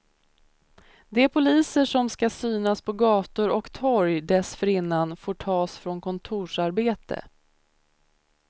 De poliser som ska synas på gator och torg dessförinnan får tas från kontorsarbete.